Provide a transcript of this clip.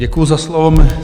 Děkuji za slovo.